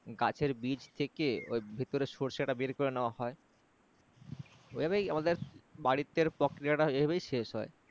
গাছের বীজ থেকে ওই ভেতরে সর্ষে টা বের করে নেওয়া হয় ঐভাবেই আমাদের বাড়িতে প্রক্রিয়া টা এইভাবেই শেষ হয়